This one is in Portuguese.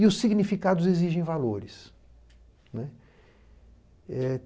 E os significados exigem valores, né. Eh